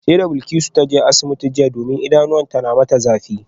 Sai da Bilkisu ta je asibitin jiya domin idanuwanta na mata zafi